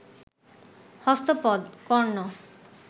হস্ত পদ, কর্ণ